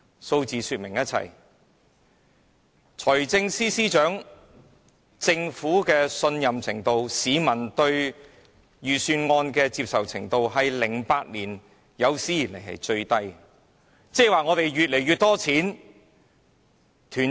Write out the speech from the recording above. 數字已說明一切，無論是財政司司長的評分、市民對政府的信任程度或市民對預算案的接受程度，全都是自2008年以來最低的。